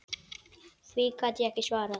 Því gat ég ekki svarað.